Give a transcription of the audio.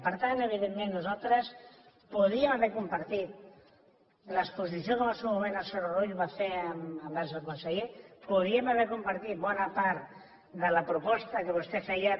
per tant evidentment nosaltres podíem haver compartit l’exposició que en el seu moment el senyor rull va fer envers el conseller podíem haver compartit bona part de la proposta que vostè feia